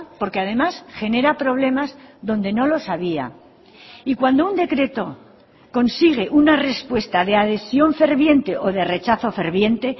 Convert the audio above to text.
porque además genera problemas donde no los había y cuando un decreto consigue una respuesta de adhesión ferviente o de rechazo ferviente